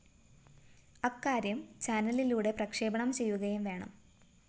അക്കാര്യം ചാനലിലൂടെ പ്രക്ഷേപണം ചെയ്യുകയും വേണം